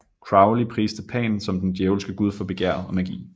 Crowley priste Pan som den djævelske gud for begær og magi